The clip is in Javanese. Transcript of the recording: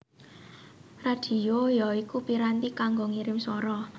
Radhio ya iku piranti kanggo ngirim swara